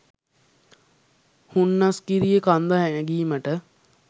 හුන්නස්ගිරිය කන්ද නැගීමට